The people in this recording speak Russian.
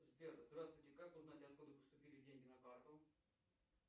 сбер здравствуйте как узнать откуда поступили деньги на карту